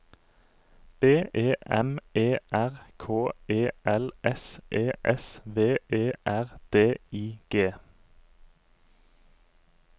B E M E R K E L S E S V E R D I G